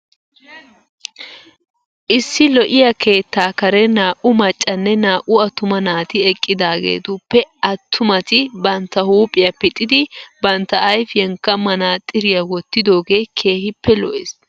Issi lo'iya keettaa karen naa"u maccanne naa"u attuma naati eqqidaageetuppe attumati bantta huuphiya pixxidi bantta ayifiyankka manaxiriya wottidoogee keehippe lo'es.